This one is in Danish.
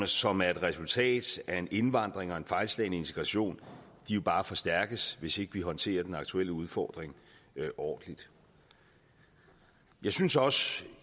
som er et resultat af en indvandring og en fejlslagen integration jo bare forstærkes hvis ikke vi håndterer den aktuelle udfordring ordentligt jeg synes også